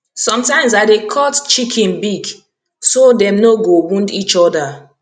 sometimes i dey cut chicken beak so dem no go wound each other